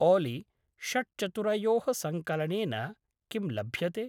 ओली! षट्चतुरयोः सङ्कलनेन किं लभ्यते?